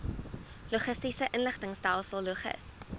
logistiese inligtingstelsel logis